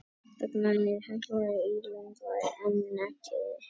Hvers vegna er Hekla ílöng en ekki keila?